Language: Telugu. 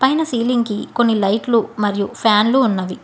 పైన సీలింగ్ కి కొన్ని లైట్లు మరియు ఫ్యాన్లు ఉన్నవి.